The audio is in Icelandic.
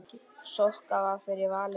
Sokka varð fyrir valinu.